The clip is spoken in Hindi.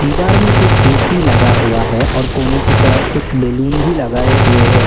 दीवार में एक ए_सी लगा हुआ है और कोने की तरफ कुछ बैलून भी लगाए हुए हैं।